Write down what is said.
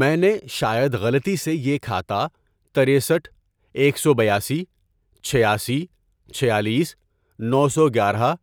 میں نے شاید غلطی سے یہ کھاتا، ترسٹھ ، ایک سو بیاسی ، چھیاسی ، چھیالیس ، نو سو گیارہ ،